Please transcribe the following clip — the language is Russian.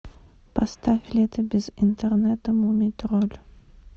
поставь лето без интернета мумий тролль